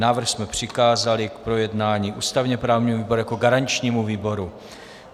Návrh jsme přikázali k projednání ústavně-právnímu výboru jako garančnímu výboru.